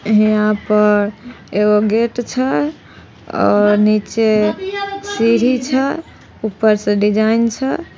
यहाँ पर एगो गेट छै और निचे सीढ़ी छै ऊपर से डिज़ाइन छै।